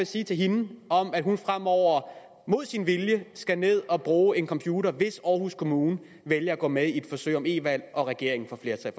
sige til hende om at hun fremover mod sin vilje skal ned og bruge en computer hvis aarhus kommune vælger at gå med i et forsøg om e valg og regeringen får flertal